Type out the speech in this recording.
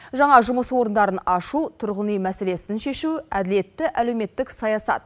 жаңа жұмыс орындарын ашу тұрғын үй мәселесін шешу әділетті әлеуметтік саясат